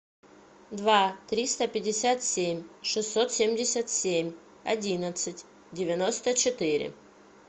два триста пятьдесят семь шестьсот семьдесят семь одиннадцать девяносто четыре